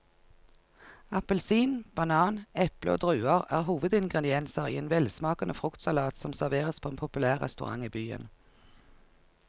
Appelsin, banan, eple og druer er hovedingredienser i en velsmakende fruktsalat som serveres på en populær restaurant i byen.